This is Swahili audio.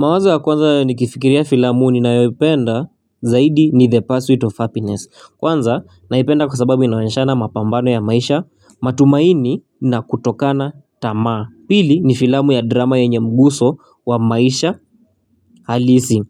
Mawaza ya kwanza nikifikiria filamu ninayopenda zaidi ni the pursuit of happiness kwanza naipenda kwa sababu inawashana mapambano ya maisha matumaini na kutokana tamaa pili ni filamu ya drama yenye mguso wa maisha halisi